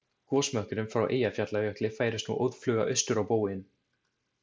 Gosmökkurinn frá Eyjafjallajökli færist nú óðfluga austur á bóginn.